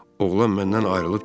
Oğlan məndən ayrılıb getdi.